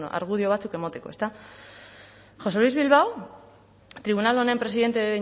argudio batzuk emateko ezta josé luis bilbao tribunal honen presidente